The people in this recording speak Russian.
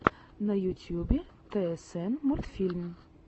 на ютьюбе тсн мультфильм